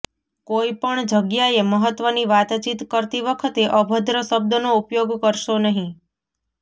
કોઈ પણ જગ્યાએ મહત્વની વાતચીત કરતી વખતે અભદ્ર શબ્દોનો ઉપયોગ કરશો નહીં